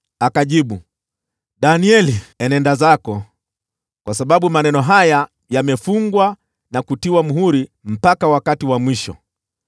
Akajibu, “Danieli, enenda zako, kwa sababu maneno haya yamefungwa na kutiwa muhuri mpaka wakati wa mwisho.